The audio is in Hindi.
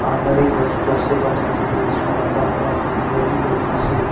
अलमारी बॉक्स बॉक्स से बना के है उसमें रखा हुआ है वो भी लोहा से।